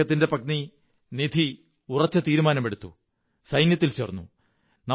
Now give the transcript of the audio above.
അദ്ദേഹത്തിന്റെ പത്നി നിധി ഉറച്ച തീരുമാനമെടുത്ത് സൈന്യത്തിൽ ചേര്ന്നു